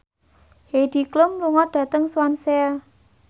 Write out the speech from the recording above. Heidi Klum lunga dhateng Swansea